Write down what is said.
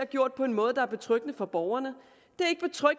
gjort på en måde der er betryggende for borgerne